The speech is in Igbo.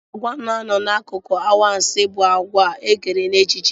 Àgwà na-anọ n'akụkọ anwansị bụ àgwà ekere n'echiche.